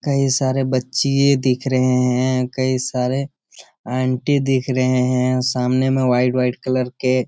कई सारे बच्चिए दिख रहे हैं कई सारे आंटी दिख रहे हैं। सामने में व्हाइट व्हाइट कलर के --